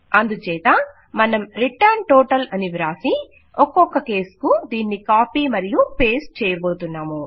అందుచేత మన్ం return total అని వ్రాసి ఒక్కొక్క కేస్ కు దీనిని కాపీ మరియు పేస్ట్ చేయబోతున్నాము